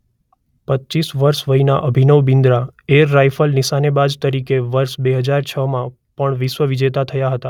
પચ્ચીસ વર્ષ વયના અભિનવ બિંદ્રા એર રાયફલ નિશાનેબાજ તરીકે વર્ષ બે હજાર છમાં પણ વિશ્વવિજેતા થયા હતા.